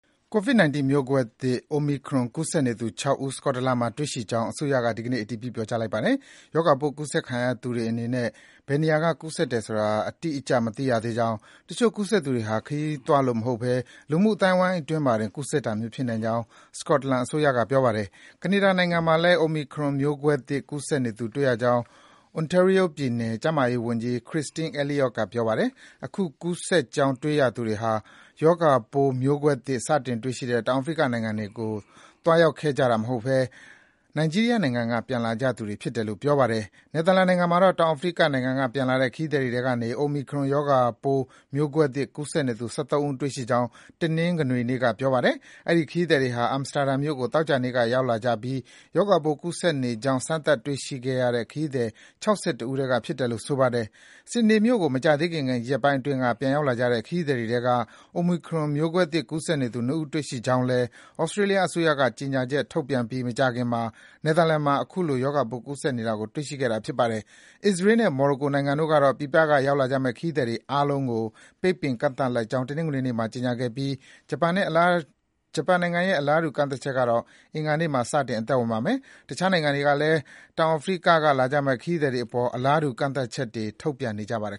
ကိုဗစ်-၁၉ မျိုးကွဲသစ် Omicron ကူးစက်နေသူ ၆ ဦး စကော့တလန်မှာ တွေ့ရှိကြောင်း အစိုးရက ဒီကနေ့ အတည်ပြုပါတယ်။ ရောဂါပိုး ကူးစက်ခံထားရသူတွေအနေနဲ့ ဘယ်နေရာကကူးစက်တယ်ဆိုတာ သူတို့အနေနဲ့ အတိအကျ မသိရသေးကြောင်း၊ တချို့ ကူးစက်သူတွေဟာ ခရီးသွားလို့မဟုတ်ဘဲ လူမှုအသိုင်းဝိုင်းအတွင်းမှာတင် ကူးစက်တာမျိုး ဖြစ်နိုင်ကြောင်း စကော့တလန် အစိုးရက ပြောပါတယ်။ ကနေဒါနိုင်ငံမှာလည်း Omicron မျိုးကွဲသစ် ကူးစက်နေသူ တွေ့ရကြောင်း Ontario ပြည်နယ် ကျန်းမာရေးဝန်ကြီး Christine Elliott က ပြောပါတယ်။ အခု ကူးစက်ကြောင်း တွေ့ရသူတွေဟာ ရောဂါပိုး မျိုးကွဲသစ် စတင်တွေ့ရှိတဲ့ တောင်ပိုင်း အာဖိရိကနိုင်ငံတွေကို သွားရောက်ခဲ့ကြသူတွေမဟုတ်ဘဲ နိုင်ဂျီးရီးယားနိုင်ငံက ပြန်လာကြသူတွေဖြစ်တယ်လို့ ပြောပါတယ်။ နယ်သာလန်နိုင်ငံမှာတော့ တောင်အာဖရိကနိုင်ငံက ပြန်လာတဲ့ ခရီးသည်တွေထဲကနေ Omicron ရောဂါပိုး မျိုးကွဲသစ် ကူးစက်နေသူ ၁၃ ဦး တွေ့ရှိခဲ့ကြောင်း တနင်္ဂနွေနေ့က ပြောပါတယ်။ အဲဒီ ခရီးသည်တွေဟာ Amsterdam မြို့ကို သောကြာနေ့က ရောက်လာကြပြီး ရောဂါပိုး ကူးစက်နေကြောင်း စမ်းသပ် တွေ့ရှိခဲ့တဲ့ ခရီးသည် ၆၁ ဦးထဲကဖြစ်တယ်လို့ ဆိုပါတယ်။ Sydney မြို့ကို မကြာသေးခင် ရက်ပိုင်းအတွင်းက ပြန်ရောက်လာကြတဲ့ ခရီးသည်တွေထဲက Omicron မျိုးကွဲသစ် ကူးစက်နေသူ ၂ ဦး တွေ့ရှိခဲ့ကြောင်း သြစတြေးလျအစိုးရက ကြေညာချက်ထုတ်ပြန်ပြီး မကြာခင်မှာ နယ်သာလန်မှာလည်း အလားတူ ရောဂါပိုး ကူးစက်နေသူတွေကို တွေ့ရှိခဲ့တာ ဖြစ်ပါတယ်။ အစ္စရေးနဲ့ မော်ရိုကိုနိုင်ငံတို့ကတော့ ပြည်ပက လာရောက်ကြမယ့် ခရီးသည်တွေအားလုံးကို ပိတ်ပင် ကန့်သတ်လိုက်ကြောင်း တနင်္ဂနွေနေ့မှာ ကြေညာခဲ့ပြီး ဂျပန်နိုင်ငံရဲ့ အလားတူ ကန့်သတ်ချက်ကတော့ အင်္ဂါနေ့မှာ စတင် အသက်ဝင်ပါမယ်။တခြားနိုင်ငံတွေကလည်း တောင်အာဖရိက က လာကြမယ့် ခရီးသည်တွေအပေါ် ကန့်သတ်ချက်တွေ ထုတ်ပြန်နေကြပါတယ်